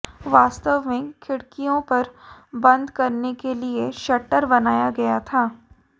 वास्तव में खिड़कियों पर बंद करने के लिए शटर बनाया गया था